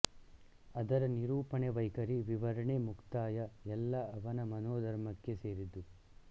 ಅದರ ನಿರೂಪಣೆ ವೈಖರಿ ವಿವರಣೆ ಮುಕ್ತಾಯ ಎಲ್ಲ ಅವನ ಮನೋಧರ್ಮಕ್ಕೆ ಸೇರಿದ್ದು